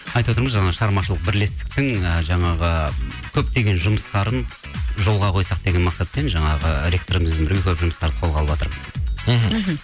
айтып отырмын жаңағы шығармашылық бірлестіктің ы жаңағы көптеген жұмыстарын жолға қойсақ деген мақсатпен жаңағы ректорымыз жұмыстарды қолға алып жатырмыз мхм